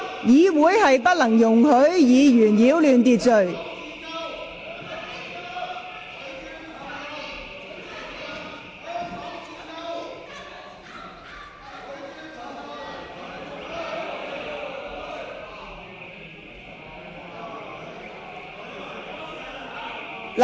議員不得擾亂會議秩序。